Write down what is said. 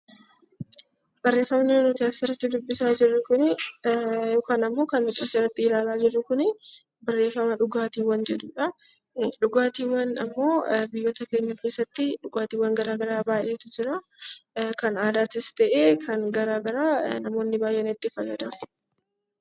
Barreeffamni nuti asirratti dubisaa jurru kun yookaan immoo kannnuti asirratti ilaalaa jirru kun barreefama 'dhugaatiiwwan' jedhudha. Dhugaatiiwwan immoo biyyoota keenya keessatti dhugaatiiwwan gara garaa baay'eetu jira. Kan aadaatis ta'ee kanngara garaa namoonni ni fayyadamu.